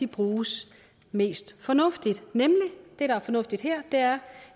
bruges mest fornuftigt det der er fornuftigt her er